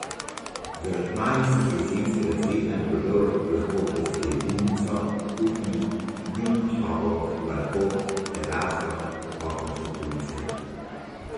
Z aranžmaji iz jesenskega cvetja in plodov lahko okrasite jedilnico, kuhinjo, dnevno sobo, balkon, teraso, okenske police.